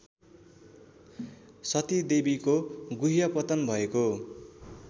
सतीदेवीको गुह्यपतन भएको